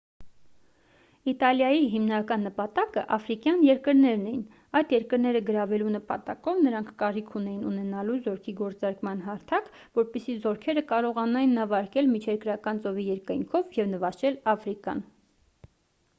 իտալիայի հիմնական նպատակը աֆրիկյան երկրներն էին այդ երկրները գրավելու նպատակով նրանք կարիք ունեին ունենալու զորքի գործարկման հարթակ որպեսզի զորքերը կարողանային նավարկել միջերկրական ծովի երկայնքով և նվաճել աֆրիկան